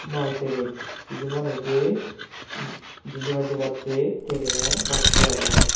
mal teren hiju manujey jindi pai jebatte terenan bassey agon.